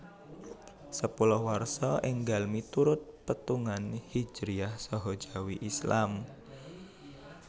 Sepuluh Warsa énggal miturut pétungan Hijriyah saha Jawi Islam